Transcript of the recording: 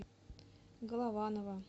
голованова